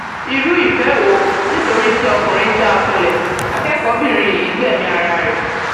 irú ìfẹ wo nítorí tí ọkùnrin já a kulẹ akẹkọọbìnrin yìí bínú gbẹmí ara ẹ